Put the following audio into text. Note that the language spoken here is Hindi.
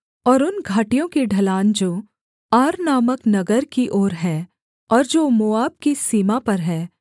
और उन घाटियों की ढलान जो आर नामक नगर की ओर है और जो मोआब की सीमा पर है